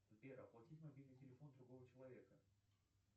сбер оплатить мобильный телефон другого человека